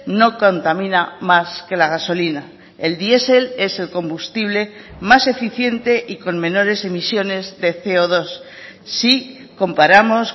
no contamina más que la gasolina el diesel es el combustible más eficiente y con menores emisiones de ce o dos si comparamos